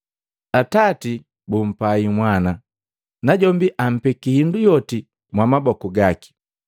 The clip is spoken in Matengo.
Atati bumpahi Mwana, najombi ampeki hindu yoti mwamaboku gaki.